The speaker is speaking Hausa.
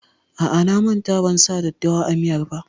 A'a, na manta ban sa daddawa a miyar ba.